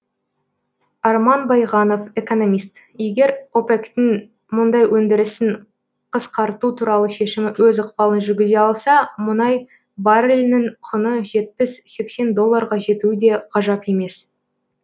арман байғанов экономист егер опек тің мұнай өндірісін қасқарту туралы шемімі өз ықпалын жүргізе алса мұнай баррелінің құны жетпіс сексен долларға жетуі де ғажап емес